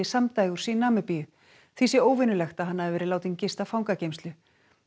samdægurs í Namibíu því sé óvenjulegt að hann hafi verið látinn gista fangageymslu